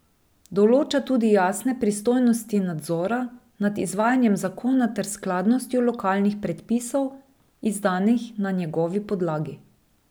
Določa tudi jasne pristojnosti nadzora nad izvajanjem zakona ter skladnostjo lokalnih predpisov, izdanih na njegovi podlagi.